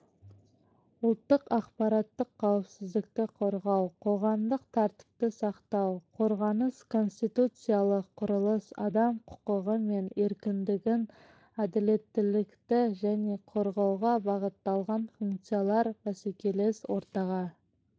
ұлттық ақпараттық қауіпсіздікті қорғау қоғамдық тәртіпті сақтау қорғаныс конституциялық құрылыс адам құқығы мен еркіндігін әділеттілікті және қорғауға бағытталған функциялар бәсекелес ортаға